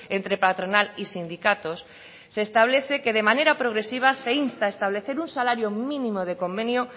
entre patronal y sindicatos se establece que de manera progresiva se insta a establecer un salario mínimo de convenio